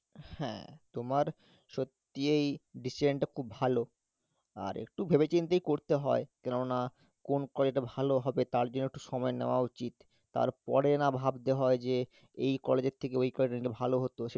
হ্যাঁ তোমার সত্যি এই decision টা খুব ভালো আর একটু ভেবে চিন্তেই করতে হয়, কেননা কোন college টা ভালো হবে তার জন্য একটু সময় নেওয়া উচিত তারপরে না ভাবতে হয় যে এই college এর থেকে ওই college টা একটু ভালো হতো